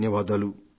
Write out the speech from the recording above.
ధన్యవాదాలు